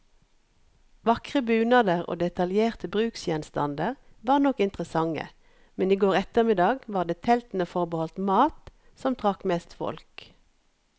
Vakre bunader og detaljerte bruksgjenstander var nok interessante, men i går ettermiddag var det teltene forbeholdt mat, som trakk mest folk.